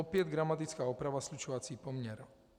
Opět gramatická oprava, slučovací poměr.